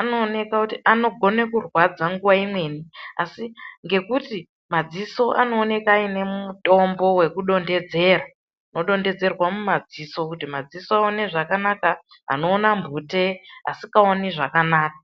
anooneka kuti anogona akurwadza nguva imweni asi ngekuti madziso anooneka ane mitombo yekudondedzerwa wodondedzerwa mumadziso kuti madziso aone zvakanaka anoona mphute asikaoni zvakanaka.